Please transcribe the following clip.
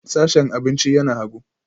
Sashen abinci yana hagu